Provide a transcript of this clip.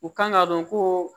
U kan ka dɔn ko